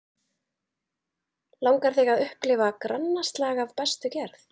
Langar þig að upplifa grannaslag af bestu gerð?